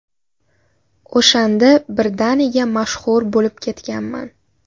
O‘shanda birdaniga mashhur bo‘lib ketganman.